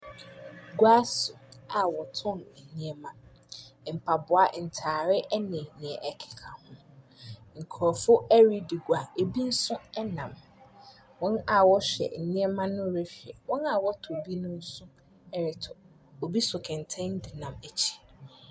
Egua so a wɔtɔn ɛneɛma, ɛmpaboa ɛntaare ɛne neɛ ɛkeka ho. Nkorɔfo ɛredi gua ebi nso ɛnam. Wɔn a wɔhwɛ nneɛma no rehwɛ, wɔn a wɔtɔ bi no nso ɛretɔ, ebi so kɛntɛn ɛde nam akyiri.